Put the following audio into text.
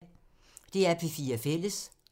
DR P4 Fælles